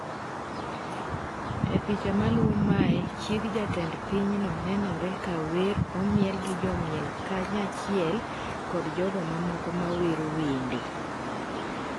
E picha maluwo mae, chieg jatend pinyno, nenore ka wer, omiel gi jomiel kanyachiel kod jogo mamoko ma wero wende.